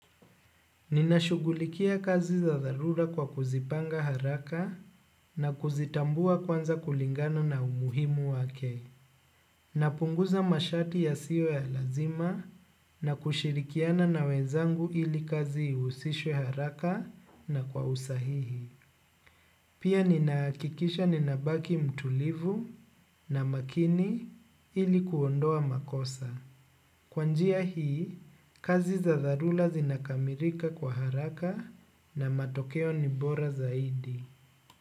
Ninashughulikia kazi za dharura kwa kuzipanga haraka na kuzitambua kwanza kulingana na umuhimu wake. Napunguza masharti yasiwe ya lazima na kushirikiana na wenzangu ili kazi ihusishwe haraka na kwa usahihi. Pia ninahakikisha ninabaki mtulivu na makini ili kuondoa makosa. Kwa njia hii kazi za dharura zinakamilika kwa haraka na matokeo ni bora zaidi.